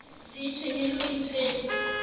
se itshwenye le ho itshwenya